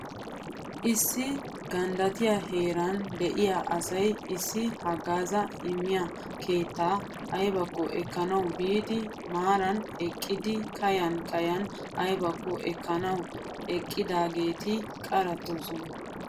Issi ganddattiya heeran de'iya asay issi haggaazaa immiya keettaa ayibakko ekkanawu biidi maaran eqqidi kayan kayan ayibakko ekkanawu eqqidaageeti qarettoosona.